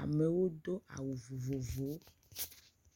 amewo do awu vovovowo.